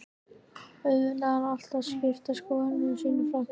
Auðvitað eru alltaf skiptar skoðanir í stórum flokki.